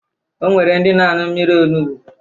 O nwere ndị na-aṅụ mmiri onubu